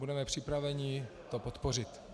Budeme připraveni to podpořit.